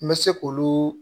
N bɛ se k'olu